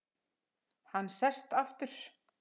Hann sest aftur.